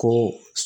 Ko